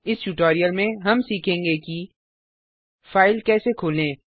इस ट्यूटोरियल में हम सीखेंगे कि फाइल कैसे खोलें160